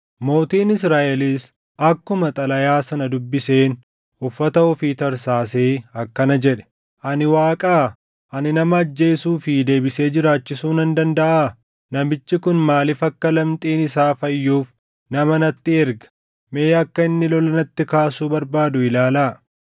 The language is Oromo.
Mootiin Israaʼelis akkuma xalayaa sana dubbiseen uffata ofii tarsaasee akkana jedhe; “Ani Waaqaa? Ani nama ajjeesuu fi deebisee jiraachisuu nan dandaʼaa? Namichi kun maaliif akka lamxiin isaa fayyuuf nama natti erga? Mee akka inni lola natti kaasuu barbaadu ilaalaa!”